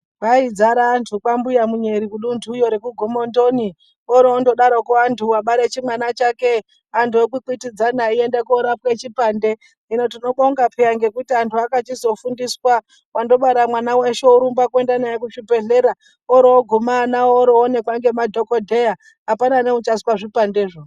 Kwaidzara antu kwambuya munyeri kudunthuyo rekugomondoni oro ondodarokwo anhu wabare chimwana chake anhu okwikwidzana eiende korapwe chipande, hino tinobonga peya ngekuti anhu akachizofundiswa wandobara mwana weshe worumba kuende naye kuchibhehleya oro oguma ana oro onekwa ngemadhokodheya apana neuchaiswe zvipandezvo.